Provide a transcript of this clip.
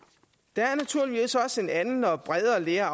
der er naturligvis også en anden og bredere lære